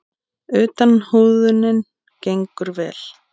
Utan húðunin gengur vel.